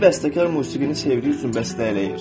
Bir bəstəkar musiqini sevdiyi üçün bəstələyir.